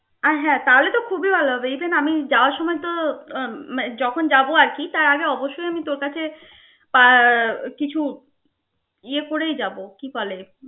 আর হ্যা তাহলে তো খুবই ভাল হবে even আমি যাওয়ার সময় তো উম যখন যাব আর কি তার আগে অবশ্যই আমি তোর কাছে কিছু ইয়ে করেই যাব.